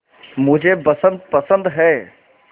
मुझे बसंत पसंद है